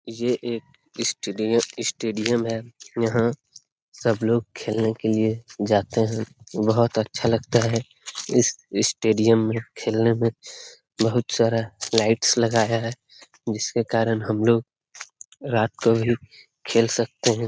ये एक stad stadium है। यहाँ सब लोग खेलने के लिए जाते हैं। बहुत अच्छा लगता है इस स्टेडियम में खेलने में। बहुत सारा लाइट्स लगा है जिसके कारण हम लोग रात को भी खेल सकते हैं।